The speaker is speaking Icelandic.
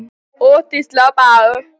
Oft við slag er bragur.